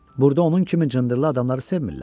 Burda onun kimi cındırlı adamları sevmillər.